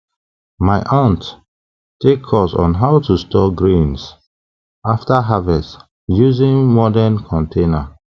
my aunt take course on how to store grains after harvest using modern container